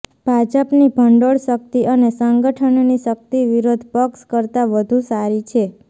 ભાજપની ભંડોળ શક્તિ અને સંગઠનની શક્તિ વિરોધ પક્ષ કરતા વધુ સારી છે